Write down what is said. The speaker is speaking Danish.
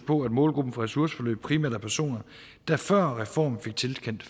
på at målgruppen for ressourceforløb primært er personer der før reformen fik tilkendt